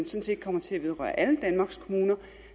set kommer til at vedrøre alle danmarks kommuner